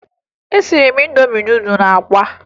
Esiri m Indomi nudụ na akwa